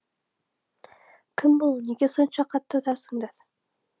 кім бұл неге сонша қатты ұрасыңдар